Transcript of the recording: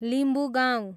Limbugaun